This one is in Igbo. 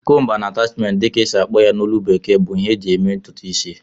"Comb and attachment" dị ka a na-akpọ ha na ólú bekee bụ ihe eji eme ntụtụ isi